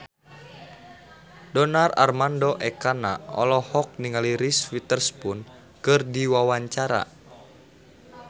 Donar Armando Ekana olohok ningali Reese Witherspoon keur diwawancara